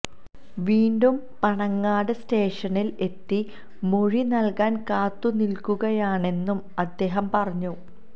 വീണ്ടും പനങ്ങാട് സ്റ്റേഷനിൽ എത്തി മൊഴി നൽകാൻ കാത്തുനിൽക്കുകയാണെന്നും അദ്ദേഹം പറഞ്ഞു